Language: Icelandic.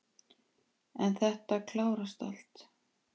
En þetta klárast allt.